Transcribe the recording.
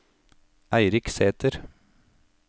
Eirik Sæter